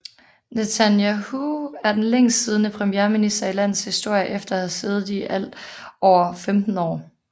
Netanyahu er den længst siddende premierminister i landets historie efter at have siddet i alt over 15 år